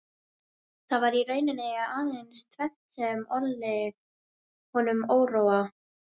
Það var í rauninni aðeins tvennt sem olli honum óróa